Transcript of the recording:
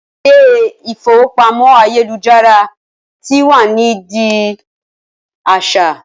Ilé ìfowópamọ́ ayélujára tí wá n di a aṣa